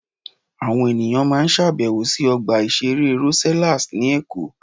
Àwọn ènìyàn máa ń ṣàbẹ̀wò sí Ọgbà Ìṣeré Rosellas ní Èkó.